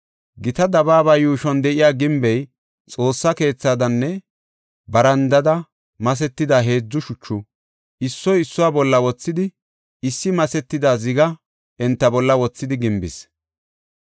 Gita dabaaba yuushuwan de7iya gimbey Xoossa keethadanne barandada masetida heedzu shuchu, issuwa issuwa bolla wothidi, issi masetida ziga enta bolla wothidi gimbis.